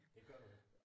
Det gør du ikke